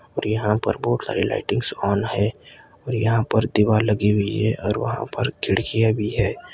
और यहा पर बहोत सारे लाइटिंग्स ऑन है और यहां पर दीवाल लगी हुई है और वहां पर खिड़कीया भी है।